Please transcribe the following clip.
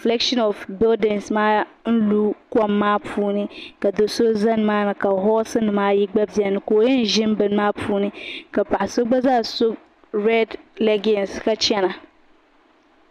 shelin shɛhi lu kom maa ni ka do so zani maa ni ka Yuri ayi bɛni ka o yin gari lim bɛni maa puuni ka so gba yan gari